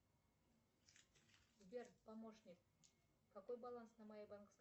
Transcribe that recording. сбер помощник какой баланс на моей банковской